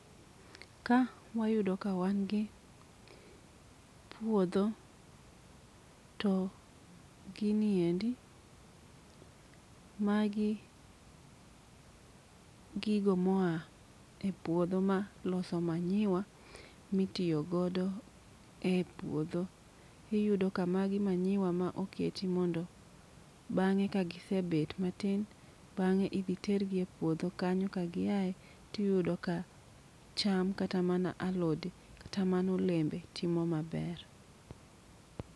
Ka wayudo ka wan gi puodho. To gini endi magi gigo moa e puodho ma loso manyiwa mitiyo godo e puodho. Iyudo ka magi manyiwa ma oketi mondo bang'e ka gisebet matin bang'e idhi tergi e puodho kanyo ka gi aye tiyudo ka cham kata mana alode kata mana olembe timo maber.